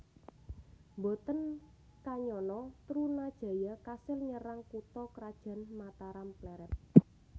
Mboten kanyana Trunajaya kasil nyerang kutha krajan Mataram Plered